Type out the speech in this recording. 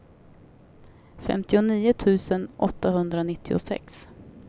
femtionio tusen åttahundranittiosex